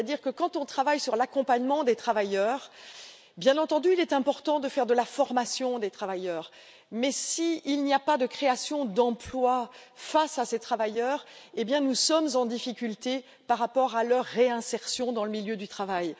En effet, lorsqu'on travaille sur l'accompagnement des travailleurs, il est, bien entendu, important de faire de la formation des travailleurs, mais s'il n'y a pas de création d'emplois face à ces travailleurs, nous sommes en difficulté par rapport à leur réinsertion dans le milieu du travail.